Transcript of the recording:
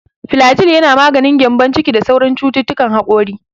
Filajil yana maganin gyambon ciki da sauran cututtukan hakori.